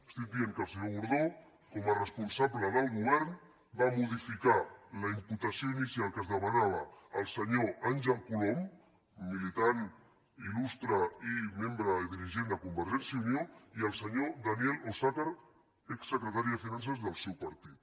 estic dient que el senyor gordó com a responsable del govern va modificar la imputació inicial que es demanava al senyor àngel colom militant il·lustre i membre i dirigent de convergència i unió i al senyor daniel osàcar exsecretari de finances del seu partit